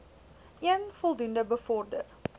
een voldoende bevorder